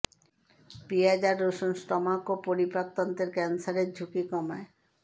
পিঁয়াজ আর রসুন স্টম্যাক ও পরিপাক তন্ত্রের ক্যানসারের ঝুঁকি কমায়